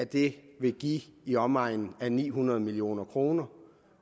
det give i omegnen af ni hundrede million kroner